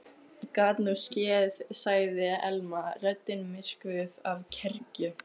Gat nú skeð sagði Elma, röddin myrkvuð af kergju.